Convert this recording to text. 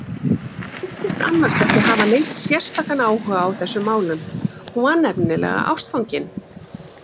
Hún virtist annars ekki hafa neinn sérstakan áhuga á þessum málum, hún var nefnilega ástfangin.